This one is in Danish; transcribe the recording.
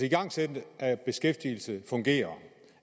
igangsættelsen af beskæftigelsen fungerer